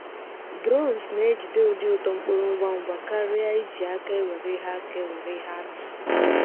Drones na-ejide ụdị uto mkpụrụ ngwa ngwa karịa iji aka ewere ihe aka ewere ihe atụ.